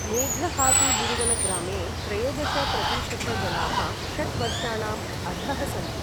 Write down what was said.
मेघहातुबुरुवनग्रामे त्रयोदश प्रतिशथ जनाः षट् वर्षाणाम् अधः सन्ति ।